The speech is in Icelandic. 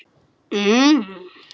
Og ég ætla mér að skrifa seinna.